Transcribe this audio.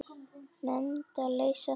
Nefndir leysa þann vanda ekki.